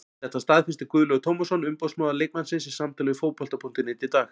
Þetta staðfesti Guðlaugur Tómasson umboðsmaður leikmannsins í samtali við Fótbolta.net í dag.